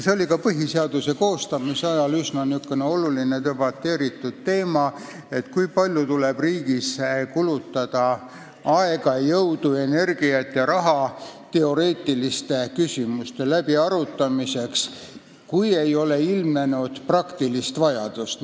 See oli ka põhiseaduse koostamise ajal üsna oluline ja debateeritud teema, et kui palju tuleb riigis kulutada aega, jõudu, energiat ja raha teoreetiliste küsimuste läbiarutamiseks, kui ei ole ilmnenud praktilist vajadust.